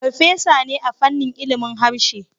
Farfesa ne a fannin ilimin harshe